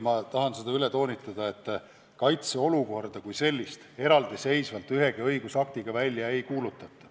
Ma tahan veel kord toonitada, et kaitseolukorda kui sellist eraldiseisvalt ühegi õigusaktiga välja ei kuulutata.